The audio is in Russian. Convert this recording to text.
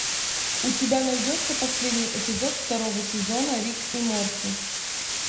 у тебя найдется последний эпизод второго сезона рик и морти